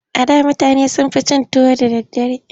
A da mutane sun fi cin tuwo da daddare.